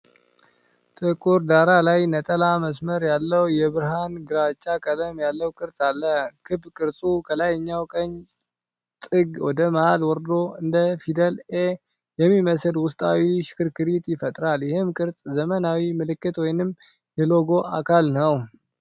ጥቁር ዳራ ላይ፣ ነጠላ መስመር ያለው የብርሃን ግራጫ ቀለም ያለው ቅርጽ አለ። ክብ ቅርጹ ከላይኛው ቀኝ ጥግ ወደ መሀል ወርዶ እንደ ፊደል 'ኤ' የሚመስል ውስጣዊ ሽክርክሪት ይፈጥራል። ይህ ቅርጽ ዘመናዊ ምልክት ወይም የሎጎ አካል ነው።